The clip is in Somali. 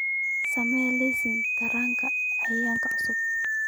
samee liiska taranka eeyga cusub